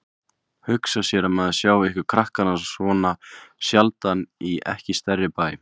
Hugsa sér að maður sjái ykkur krakkana svona sjaldan í ekki stærri bæ.